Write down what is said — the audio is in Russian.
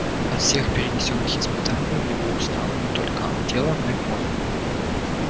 от всех перенесённых испытаний у него устало не только тело но и мозг